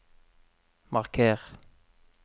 marker